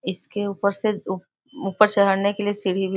इसके ऊपर से उ ऊपर चहड़ने के लिए सीढ़ी भी --